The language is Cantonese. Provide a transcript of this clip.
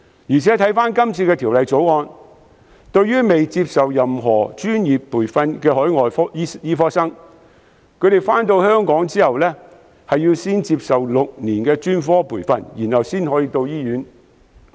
再者，根據《條例草案》，尚未接受專科培訓的海外醫科生來港後，需要先行接受6年的專科培訓，然後才可到醫院工作。